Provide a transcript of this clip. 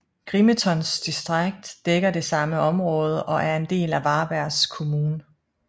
Grimetons distrikt dækker det samme område og er en del af Varbergs kommun